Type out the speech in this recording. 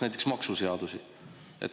Näiteks maksuseadusi.